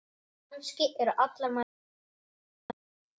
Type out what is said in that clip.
Kannski eru allar mæður börn.